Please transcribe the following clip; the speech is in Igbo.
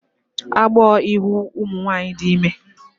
Agbọọ ịhụ ụmụ nwaanyị dị ime